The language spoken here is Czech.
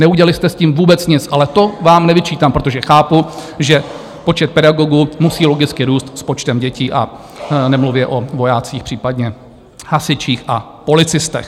Neudělali jste s tím vůbec nic, ale to vám nevyčítám, protože chápu, že počet pedagogů musí logicky růst s počtem dětí a nemluvě o vojácích, případně hasičích a policistech.